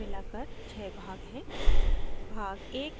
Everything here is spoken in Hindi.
अतः so मिलाकर 6 भाग हैं